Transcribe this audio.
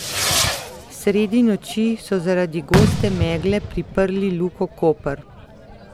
Sredi noči so zaradi goste megle priprli Luko Koper.